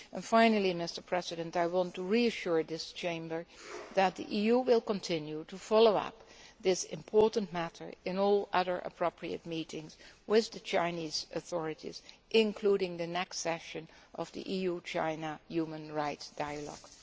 Finally, I want to reassure this Chamber that the EU will continue to follow up this important matter in all other appropriate meetings with the Chinese authorities, including the next session of the EU China human rights dialogue.